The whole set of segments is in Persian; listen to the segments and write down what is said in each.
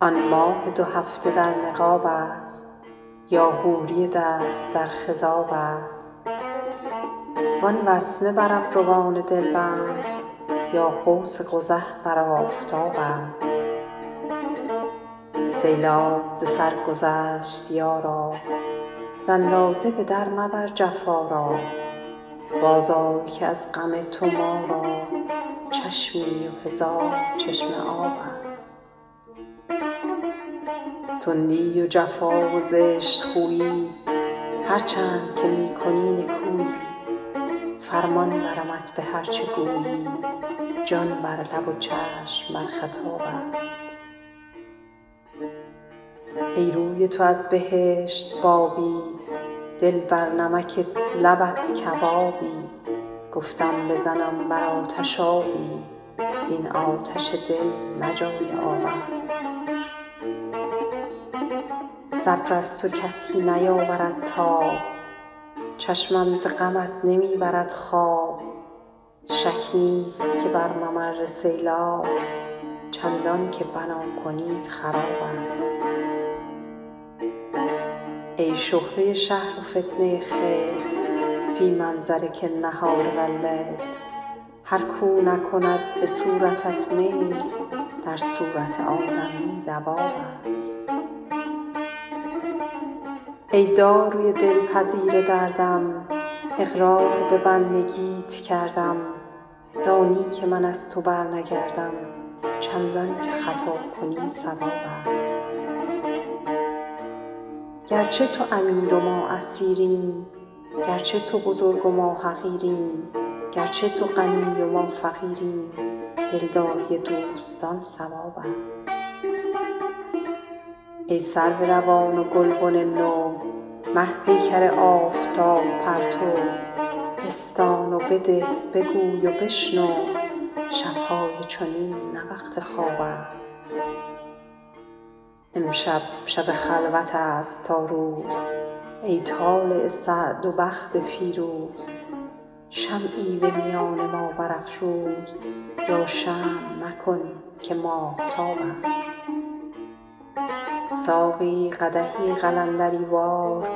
آن ماه دو هفته در نقاب است یا حوری دست در خضاب است وان وسمه بر ابروان دلبند یا قوس قزح بر آفتاب است سیلاب ز سر گذشت یارا ز اندازه به در مبر جفا را بازآی که از غم تو ما را چشمی و هزار چشمه آب است تندی و جفا و زشت خویی هرچند که می کنی نکویی فرمان برمت به هر چه گویی جان بر لب و چشم بر خطاب است ای روی تو از بهشت بابی دل بر نمک لبت کبابی گفتم بزنم بر آتش آبی وین آتش دل نه جای آب است صبر از تو کسی نیاورد تاب چشمم ز غمت نمی برد خواب شک نیست که بر ممر سیلاب چندان که بنا کنی خراب است ای شهره شهر و فتنه خیل فی منظرک النهار و اللیل هر کاو نکند به صورتت میل در صورت آدمی دواب است ای داروی دلپذیر دردم اقرار به بندگیت کردم دانی که من از تو برنگردم چندان که خطا کنی صواب است گرچه تو امیر و ما اسیریم گرچه تو بزرگ و ما حقیریم گرچه تو غنی و ما فقیریم دلداری دوستان ثواب است ای سرو روان و گلبن نو مه پیکر آفتاب پرتو بستان و بده بگوی و بشنو شب های چنین نه وقت خواب است امشب شب خلوت است تا روز ای طالع سعد و بخت فیروز شمعی به میان ما برافروز یا شمع مکن که ماهتاب است ساقی قدحی قلندری وار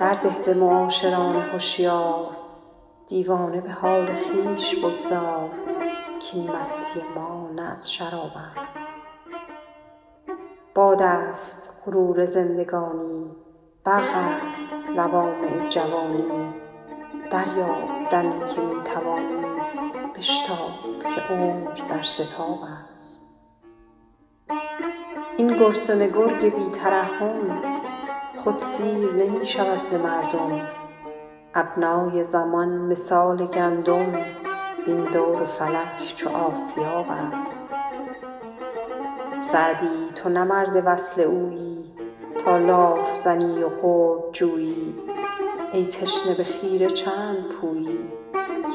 در ده به معاشران هشیار دیوانه به حال خویش بگذار کاین مستی ما نه از شراب است باد است غرور زندگانی برق است لوامع جوانی دریاب دمی که می توانی بشتاب که عمر در شتاب است این گرسنه گرگ بی ترحم خود سیر نمی شود ز مردم ابنای زمان مثال گندم وین دور فلک چو آسیاب است سعدی تو نه مرد وصل اویی تا لاف زنی و قرب جویی ای تشنه به خیره چند پویی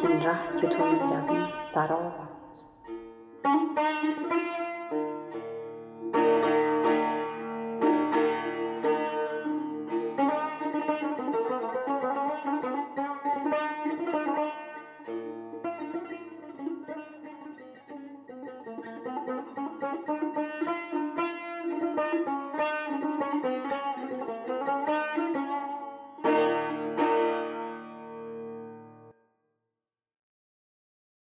کاین ره که تو می روی سراب است